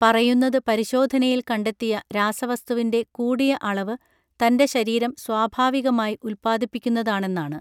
പറയുന്നത് പരിശോധനയിൽ കണ്ടെത്തിയ രാസവസ്തുവിന്റെ കൂടിയ അളവ് തൻറെ ശരീരം സ്വാഭാവികമായി ഉത്പാദിപ്പിക്കുന്നതാണെന്നാണ്